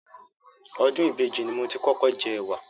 Ọdún ìbejì ni mo ti kọ́kọ́ jẹ ẹ̀wà.